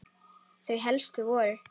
Þau helstu voru